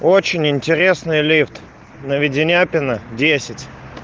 очень интересный лифт на веденяпина десять